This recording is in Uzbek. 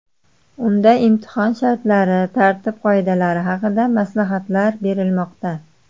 Unda imtihon shartlari, tartib-qoidalari haqida maslahatlar berilmoqda.